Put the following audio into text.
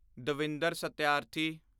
Davinder Satyarthi